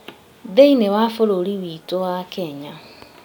Thĩiniĩ wa bũrũri witũ wa Kenya